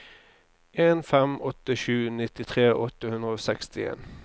en fem åtte sju nittitre åtte hundre og sekstien